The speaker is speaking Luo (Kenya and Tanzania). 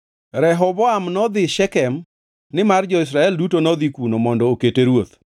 Rehoboam nodhi Shekem nimar jo-Israel duto nodhi kuno mondo okete ruoth.